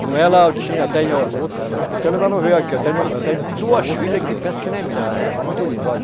Com ela eu tinha, eu tenho. Porque ela ainda não veio aqui, eu tenho, eu tenho duas filhas que penso que não é minha, elas são muito lindas, olha.